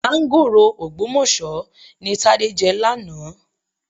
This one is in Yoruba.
Máńgòrò Ògbómọ̀ṣọ́ ni Tádé jẹ lánàá.